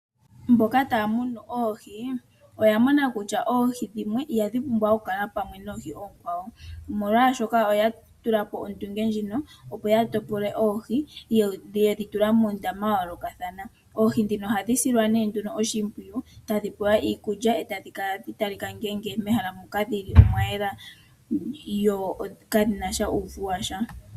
Mboka taya munu oohi oya mona kutya oohi dhimwe ihadhi pumbwa okukala pamwe noohi oonkwawo, omolwashoka oya tulapo ondunge ndjino opo ya topole oohi yo yedhi tula muundama wa yoolokathana. Oohi dhino ohadhi silwa nee nduno oshimpwiyu tadhi pewa iikulya e tadhi kala hadhi talika mehala moka dhili omwa yela yo kadhina sha uuvu washa.